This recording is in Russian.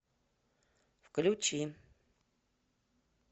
включи